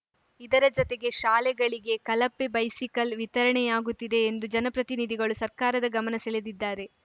ಇದರ ಜತೆಗೆ ಶಾಲೆಗಳಿಗೆ ಕಲಪೆ ಬೈಸಿಕಲ್‌ ವಿತರಣೆಯಾಗುತ್ತಿದೆ ಎಂದು ಜನಪ್ರತಿನಿಧಿಗಳು ಸರ್ಕಾರದ ಗಮನ ಸೆಳೆದಿದ್ದಾರೆ